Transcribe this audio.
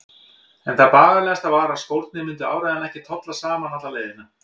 En það bagalegasta var að skórnir myndu áreiðanlega ekki tolla saman alla leiðina.